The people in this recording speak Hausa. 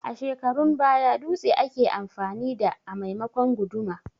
A shekarun baya dutse ake amfani da a maimakon guduma